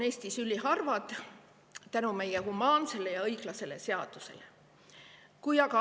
Teiseks, tänu meie humaansele ja õiglasele seadusele on illegaalsed abordid Eestis üliharvad.